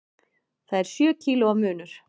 Það er sjö kílóa munur.